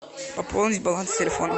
пополнить баланс телефона